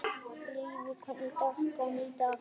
Levý, hvernig er dagskráin í dag?